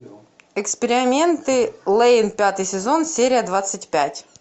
эксперименты лэйн пятый сезон серия двадцать пять